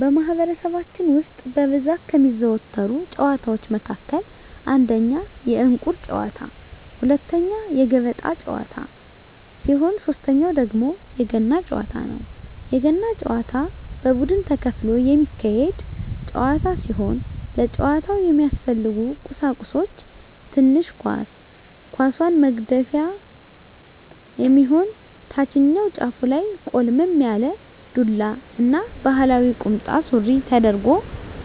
በማህበረሰባችን ውስጥ በብዛት ከሚዘወተሩ ጨዋታወች መካከል አንደኛ የእንቁር ጨዋታ፣ ሁለተኛ የገበጣ ጨዋታ ሲሆን ሶተኛው ደግሞ የገና ጨዋታ ነው። የገና ጨዋታ በቡድን ተከፍሎ የሚካሄድ ጨዋታ ሲሆን ለጨዋታው የሚያስፈልጉ ቀሳቁሶች ትንሽ ኳስ፣ ኳሷን መግፊያ የሚሆን ታችኛው ጫፉ ላይ ቆልመም ያለ ዱላ እና ባህላዊ ቁምጣ ሱሪ ተደርጎ